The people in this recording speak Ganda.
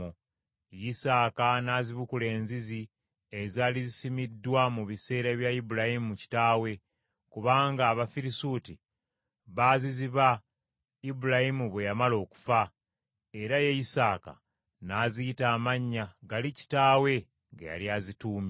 Isaaka n’azibukula enzizi ezaali zisimiddwa mu biseera bya Ibulayimu kitaawe, kubanga Abafirisuuti baziziba Ibulayimu bwe yamala okufa. Era ye Isaaka n’aziyita amannya gali kitaawe ge yali azituumye.